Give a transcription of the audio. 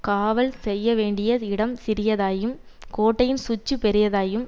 காவல் செய்யவேண்டிய இடம் சிறியதாயும் கோட்டையின் சுற்று பெரியதாயும்